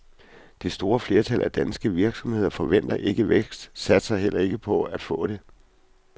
Det store flertal af danske virksomheder forventer ikke vækst og satser heller ikke på at få det.